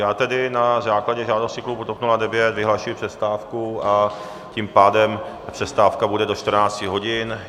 Já tedy na základě žádosti klubu TOP 09 vyhlašuji přestávku, a tím pádem přestávka bude do 14.00 hodin.